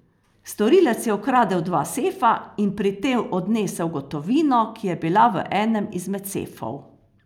Storilec je ukradel dva sefa in pri tem odnesel gotovino, ki je bila v enem izmed sefov.